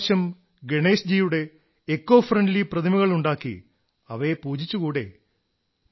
ഇപ്രാവശ്യം eco friendly ഗേണേശ്ജിയുടെ പ്രതിമകളുണ്ടാക്കി അവയെ പൂജിച്ചുകൂടേ